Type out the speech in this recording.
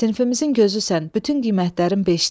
Sinifimizin gözüsən, bütün qiymətlərin beşdir.